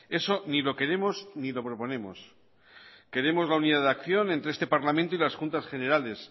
eso ni lo queremos ni lo proponemos queremos la unidad de acción entre este parlamento y las juntas generales